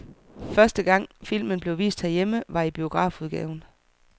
Første gang filmen blev vist herhjemme var i biografudgaven.